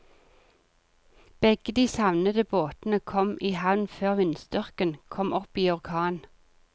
Begge de savnede båtene kom i havn før vindstyrken kom opp i orkan.